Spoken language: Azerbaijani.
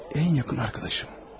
Ən yaxın dostum.